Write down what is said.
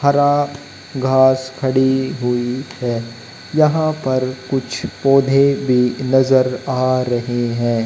हरा घास खड़ी हुई है यहां पर कुछ पौधे भी नजर आ रहे हैं।